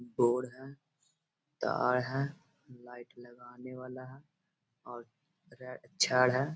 Board है। तार है। लाइट लगाने वाला है और --